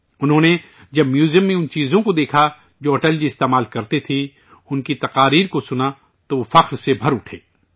انہوں نے جب میوزیم میں اُن چیزوں کو دیکھا جو اٹل جی استعمال کرتے تھے، ان کی تقریریں سنیں، تو وہ فخر سے بھر اٹھے